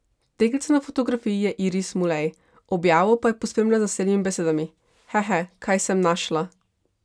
Deklica na fotografiji je Iris Mulej, objavo pa je pospremila z naslednjimi besedami: 'Hehe, kaj sem našla ...